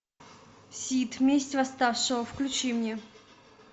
сид месть восставшего включи мне